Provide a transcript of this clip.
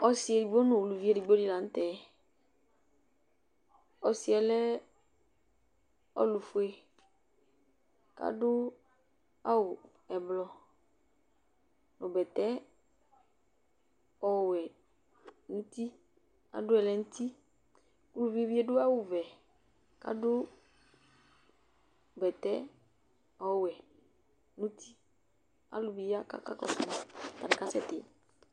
Ɔsɩ edigbo nʋ uluvi edigbo dɩ la nʋ tɛ Ɔsɩ yɛ lɛ ɔlʋfue kʋ adʋ awʋ ɛblɔ nʋ bɛtɛ ɔwɛ nʋ uti Adʋ ɛlɛnʋti Uvi yɛ adʋ awʋvɛ kʋ adʋ bɛtɛ ɔwɛ nʋ uti Alʋ bɩ ya kʋ akakɔsʋ ma Atanɩ kasɛtɩ